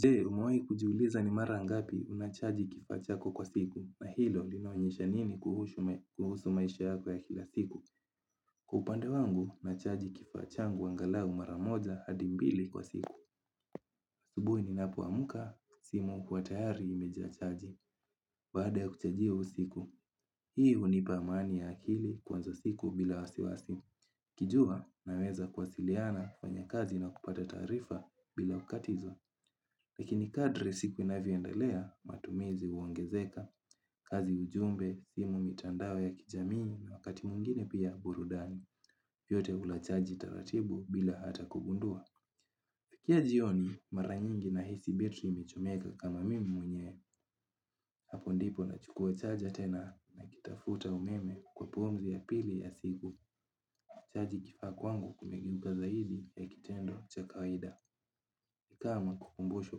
Je, umewahi kujiuliza ni mara ngapi unachaji kifaa chako kwa siku na hilo linaonyesha nini kuhusu maisha yako ya kila siku? Upande wangu, nachaji kifaa changu angalau mara moja hadi mbili kwa siku. Asubuhi ninapoamka, simu huwa tayari imejaa chaji. Baada ya kuchajia usiku, hii hunipa amani ya akili kuanza siku bila wasiwasi. Nikijua naweza kuwasiliana, kufanya kazi na kupata taarifa bila kukatizwa. Lakini kadri siku inavyoendelea, matumizi huongezeka, kazi ujumbe, simu mitandao ya kijamii na wakati mwingine pia burudani, yote hula chaji taratibu bila hata kugundua. Kila jioni, mara nyingi nahisi betri imechomeka kama mimi mwenyewe, hapo ndipo nachukua chaja tena nakitafuta umeme kwa pumzi ya pili ya siku. Chaji kifaa kwangu kumegeuka zaidi ya kitendo cha kawaida. Kama kukumbushwa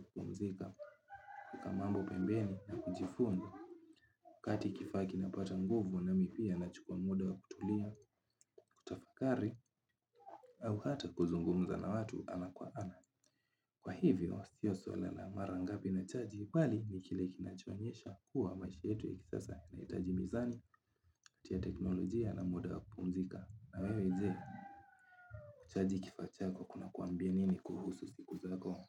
kupumzika, kuweka mambo pembeni na kujifunda. Wakati kifaa kinapata nguvu nami pia nachukua muda wa kutulia, kutafakari au hata kuzungumza na watu ana kwa ana. Kwa hivyo, sio swala la mara ngapi nachaji, bali ni kile kinachoonyesha kuwa maisha yetu ya kisasa inahitaji mizani ya teknolojia na muda wa kupumzika. Na wewe je kuchaji kifaa chako kunakuambia nini kuhusu siku zako?